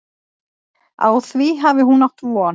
Á því hafi hún átt von.